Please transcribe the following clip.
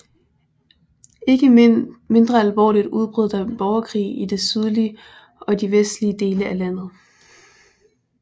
Ikke mindre alvorligt udbrød der borgerkrig i de sydlige og de vestlige dele af landet